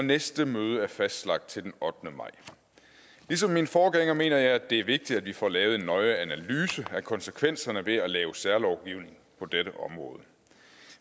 og næste møde er fastlagt til den ottende maj ligesom min forgænger mener jeg det er vigtigt at vi får lavet en nøje analyse af konsekvenserne ved at lave særlovgivning på dette område